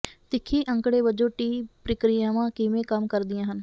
ਤਿੱਖੀ ਅੰਕੜੇ ਵਜੋਂ ਟੀ ਪ੍ਰਕਿਰਿਆਵਾਂ ਕਿਵੇਂ ਕੰਮ ਕਰਦੀਆਂ ਹਨ